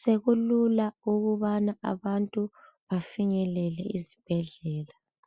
sekulula ukubana abantu bafinyelele ezibhedlela